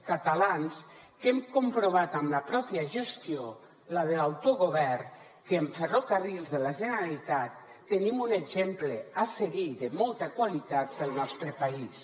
catalans que hem comprovat amb la pròpia gestió la de l’autogovern que en ferrocarrils de la generalitat tenim un exemple a seguir de molta qualitat per al nostre país